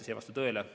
See ei vasta tõele.